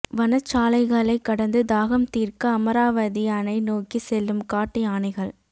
வனச்சாலைகளை கடந்து தாகம் தீர்க்க அமராவதி அணை நோக்கி செல்லும் காட்டு யானைகள்